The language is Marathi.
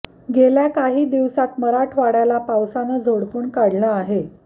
गेल्या काही दिवसात मराठवाड्याला पावसानं झोडपून काढलं आहे